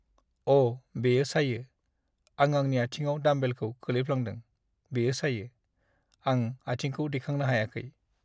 अ'! बेयो सायो। आं आंनि आथिंआव डाम्बेलखौ खोलैफ्लांदों, बेयो सायो। आं आथिंखौ दिखांनो हायाखै।